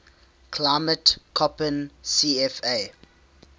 climate koppen cfa